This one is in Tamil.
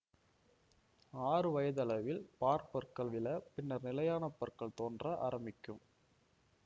ஆறு வயதளவில் பாற்பற்கள் விழ பின்னர் நிலையான பற்கள் தோன்ற ஆரம்பிக்கும்